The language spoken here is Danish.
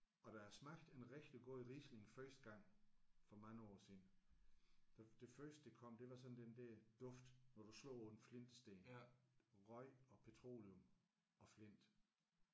Og da jeg smagte en rigtig god Riesling første gang for mange år siden det det første der kom det var sådan den der duft når du slår på en flintesten. Røg og petroleum og flint